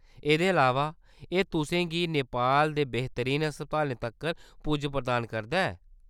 एह्‌‌‌दे अलावा, एह्‌‌ तुसें गी नेपाल दे बेहतरीन अस्पतालें तक्कर पुज्ज प्रदान करदा ऐ।